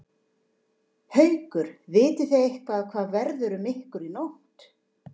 Haukur: Vitið þið eitthvað hvað verður um ykkur í nótt?